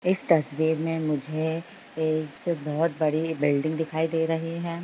इस तस्वीर में मुझे एक बहुत बड़ी बिल्डिंग दिखाई दे रही है।